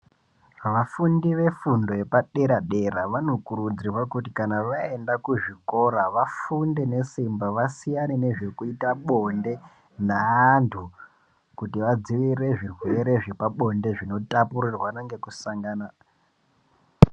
Vafundi vefundo yepaderadera vanokuridzirwa kuti kana vaenda kuzvikora vafunde nesimba vasiyane nezvekuita bonde neantu , kuti vadzivirire zvirwere zvepabonde zvinotapurirwana nekusangana .